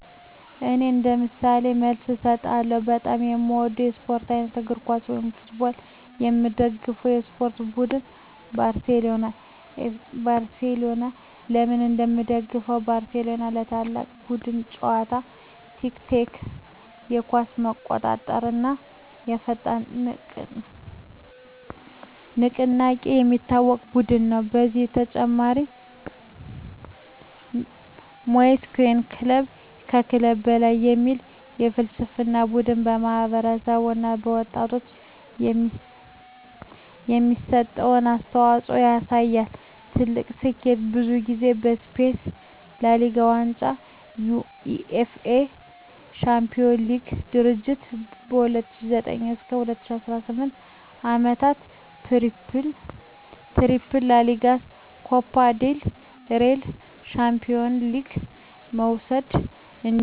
እኔ እንደ ምሳሌ መልስ እሰጣለሁ፦ በጣም የምወደው የስፖርት አይነት: እግር ኳስ (Football) የምደግፈው የስፖርት ቡድን: ባርሴሎና (FC Barcelona) ለምን እንደምደግፈው: ባርሴሎና በታላቅ የቡድን ጨዋታ (tiki-taka)፣ በኳስ መቆጣጠር እና በፈጣን ንቅናቄ የሚታወቅ ቡድን ነው። ከዚህ በተጨማሪ “Mes que un club” (ከክለብ በላይ) የሚል ፍልስፍናው ቡድኑ ለማህበረሰብ እና ለወጣቶች የሚሰጠውን አስተዋፅኦ ያሳያል። ትልቁ ስኬቱ: ብዙ ጊዜ የስፔን ላ ሊጋ ዋንጫ የUEFA ቻምፒዮንስ ሊግ ድሎች በ2009 እና 2015 ዓመታት “ትሪፕል” (ላ ሊጋ፣ ኮፓ ዴል ሬይ፣ ቻምፒዮንስ ሊግ) መውሰድ እንዲሁ ከታላቁ ተጫዋች ሊዮኔል ሜሲ ጋር ያለው ታሪክ ቡድኑን ለብዙ ሰዎች የሚወደድ አድርጎታል።